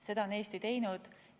Seda on Eesti teinud.